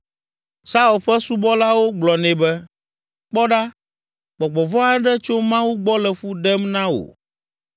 Saul ƒe subɔlawo gblɔ nɛ be, “Kpɔ ɖa, gbɔgbɔ vɔ̃ aɖe tso Mawu gbɔ le fu ɖem na wò.